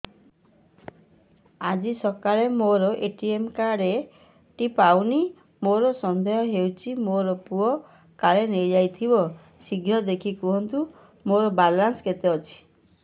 ଆଜି ସକାଳେ ମୋର ଏ.ଟି.ଏମ୍ କାର୍ଡ ଟି ପାଉନି ମୋର ସନ୍ଦେହ ହଉଚି ମୋ ପୁଅ କାଳେ ନେଇଯାଇଥିବ ଶୀଘ୍ର ଦେଖି କୁହନ୍ତୁ ମୋର ବାଲାନ୍ସ କେତେ ଅଛି